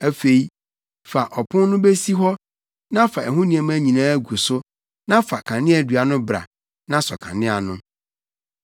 Afei, fa ɔpon no besi hɔ na fa ɛho nneɛma nyinaa gu so na fa kaneadua no bra na sɔ kanea no.